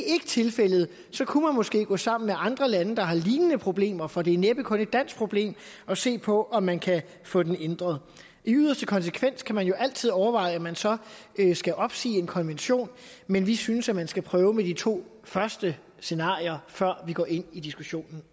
ikke tilfældet kunne man måske gå sammen med andre lande der har lignende problemer for det er næppe kun et dansk problem og se på om man kan få den ændret i yderste konsekvens kan man jo altid overveje om man så skal opsige en konvention men vi synes man skal prøve med de to første scenarier før vi går ind i diskussionen